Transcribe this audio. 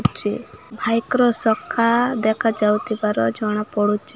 ଚି ଭାଇକ୍ ର ସଖା ଦେଖାଯାଉଥିବାର ଜଣାପଡୁଚି।